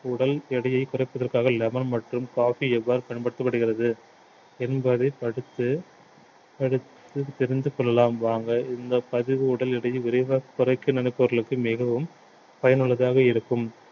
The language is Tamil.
உடல் எடையை குறைப்பதற்காக lemon மற்றும் coffee எவ்வாறு பயன்படுத்தபடுகிறது என்பதை படித்து படித்து தெரிந்து கொள்ளலாம் வாங்க இந்த பதிவு உடல் எடையை விரைவாக குறைக்க நினைப்பவர்களுக்கு மிகவும் பயனுள்ளதாக இருக்கும்